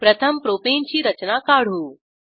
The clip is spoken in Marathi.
प्रथम प्रोपाने ची रचना काढू